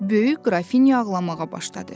Böyük qrafinya ağlamağa başladı.